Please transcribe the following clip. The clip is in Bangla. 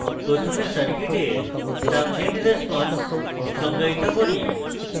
প্রথমে circuit transient response সংজ্ঞায়িত করি